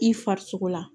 I farisogo la